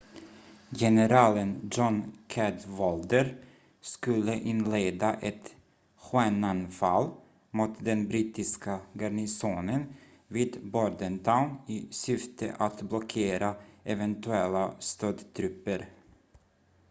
generalen john cadwalder skulle inleda ett skenanfall mot den brittiska garnisonen vid bordentown i syfte att blockera eventuella stödtrupper